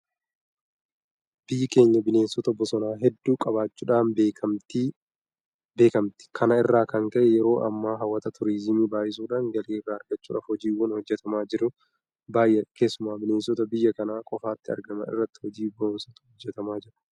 Biyyi keenya bineensota bosonaa hedduu qabaachuudhaan beekamti. Kana irraa kan ka'e yeroo ammaa hawwata turiizimii baay'isuudhaan galii irraa argachuudhaaf hojiin hojjetamaa jiru baay'eedha. Keessumaa bineensota biyya kana qofatti argaman irratti hojii boonsatu hojjetamaa jira.